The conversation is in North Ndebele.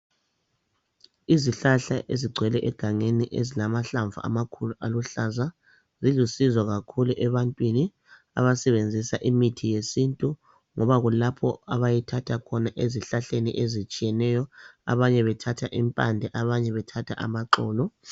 Izihlahla ezigcwele egangeni ezilamahlamvu amakhulu, aluhlaza zilusizo kakhulu ebantwini abasebenzisa imithi yesintu ngoba kulapho abayithatha khona ezihlahleni ezitshiyeneyo, abanye bethatha impande, abanye bethatha amaxolo.